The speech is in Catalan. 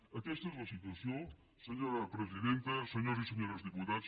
aquesta és la situació senyora presidenta senyores i senyors diputats